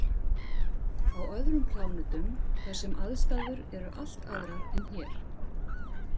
Á öðrum plánetum þar sem aðstæður eru allt aðrar en hér.